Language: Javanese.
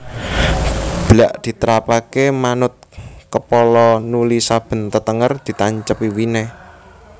Blak ditrapake manut kepala nuli saben tetenger ditancepi winih